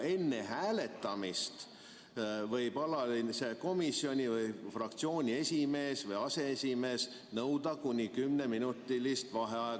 Enne hääletamist võib alalise komisjoni või fraktsiooni esimees või aseesimees nõuda kuni kümneminutilist vaheaega.